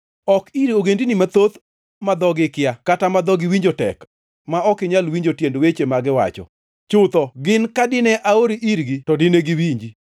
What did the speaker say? Ok ir ogendini mathoth ma dhogi ikia kata ma dhogi winjo tek, ma ok inyal winjo tiend weche ma giwacho. Chutho gin ka dine aori irgi to dine giwinji.